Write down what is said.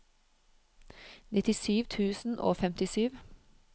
nittisju tusen og femtisju